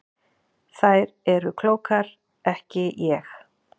Þær eru klókar ekki ég.